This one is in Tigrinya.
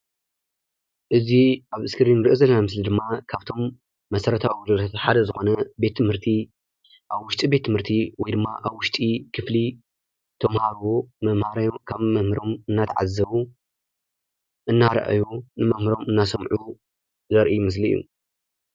እዚ ኣብ እስክሪን ንርኦ ዘለና ምስሊ ድማ ካፍቶም መሰረታዊ ኣግልግልትና ሓደ ዝኮነ ቤት ትምህርቲ ኣብ ውሽጢ ቤት ትምህርቲ ወይ ድማ ኣብ ውሽጢ ክፍሊ ተማሃሩ ካብ መምህር እደተዓዘቡ እደራኣዩ ንመምህሮም እንደሰምዑ ዘርኢ ምስሊ እዩ።